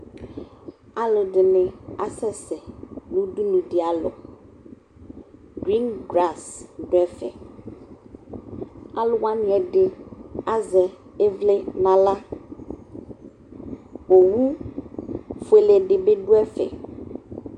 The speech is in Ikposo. Alʊ ɛdɩnɩ asɛsɛ nʊ ʊdʊnʊ dɩalɔ ʊwui ʊgbata wla dʊ ɛfɛ aluwanɩ ɛdɩ azɛ ivli nʊ ahla owʊfʊele dɩbɩ dʊɛfɛ